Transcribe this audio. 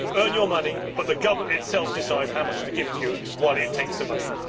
You earn your money, but the government itself decides how much to give to you while it takes the money.